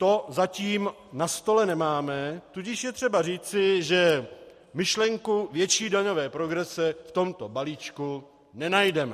To zatím na stole nemáme, tudíž je třeba říci, že myšlenku větší daňové progrese v tomto balíčku nenajdeme.